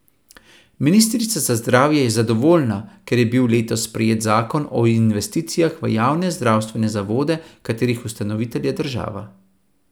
Ministrica za zdravje je zadovoljna, ker je bil letos sprejet zakon o investicijah v javne zdravstvene zavode, katerih ustanovitelj je država.